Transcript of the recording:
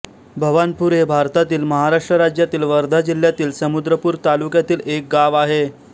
भवानपूर हे भारतातील महाराष्ट्र राज्यातील वर्धा जिल्ह्यातील समुद्रपूर तालुक्यातील एक गाव आहे